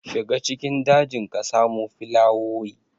Shiga cikin dajin ka samo filawoyi.